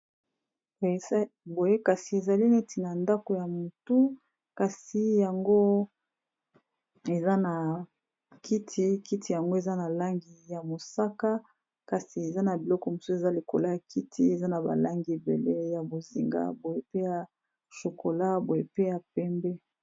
Boye kasi ezali neti na ndako ya mutu kasi yango eza na kiti eza na langi ya mosaka, kasi eza na biloko mosusu eza likolo ya kiti eza na ba langi ebele ya bozinga, boye pe ya chocolat, boye pe ya pembe.